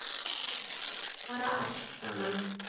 Bara allt saman.